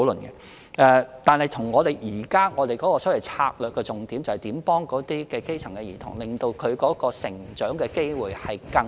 然而，我們現時的策略重點是幫助基層兒童，令他們有更平等的成長機會。